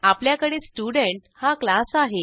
आपल्याकडे स्टुडेंट हा क्लास आहे